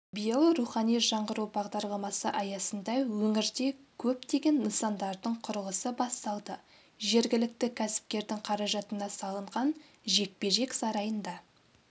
биыл рухани жаңғыру бағдарламасы аясында өңірде көптеген нысандардың құрылысы басталды жергілікті кәсіпкердің қаражатына салынған жекпе-жек сарайында